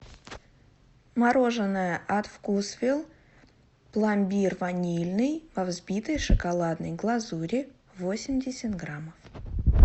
мороженое от вкусвилл пломбир ванильный во взбитой шоколадной глазури восемьдесят грамм